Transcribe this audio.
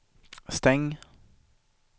stäng